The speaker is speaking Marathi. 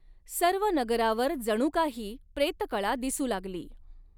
सर्व नगरावर जणु कांही प्रेतकळा दिसू लागली.